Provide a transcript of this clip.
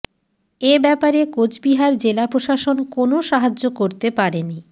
এ ব্যাপারে কোচবিহার জেলা প্রশাসন কোনও সাহায্য করতে পারেনি